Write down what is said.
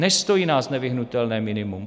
Nestojí nás nevyhnutelné minimum.